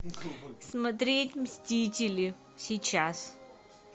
смотреть мстители сейчас